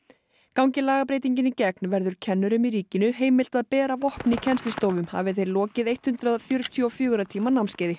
gangi lagabreytingin í gegn verður kennurum í ríkinu heimilt að bera vopn í kennslustofum hafi þeir lokið hundrað fjörutíu og fjögurra tíma námskeiði